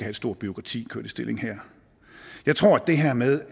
et stort bureaukrati kørt i stilling her jeg tror at det her med